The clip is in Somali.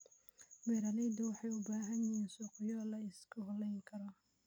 Beeraleydu waxay u baahan yihiin suuqyo la isku halayn karo.